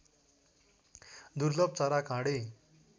दुर्लभ चरा काँडे